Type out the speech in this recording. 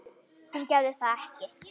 Hún gerði það ekki.